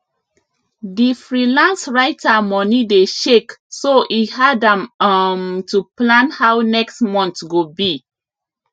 di freelance writer money dey shake so e hard am um to plan how next month go be